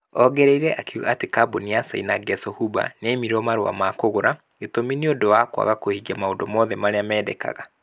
Ongereire akiuga atĩ kambuni ya China Gezhouba nĩ ya imirwo marũa ma kũgura . Gĩtũmi nĩ ũndũ wa kwaga kũhingia maũndũ moothe marĩa mendekaga.